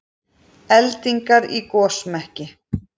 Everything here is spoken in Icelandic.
Eldingar í gosmekki